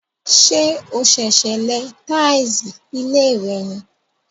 Ṣé o sèsè lẹ táìsì ilé rẹ ní?